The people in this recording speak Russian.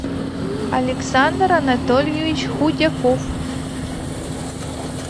александр анатольевич худяков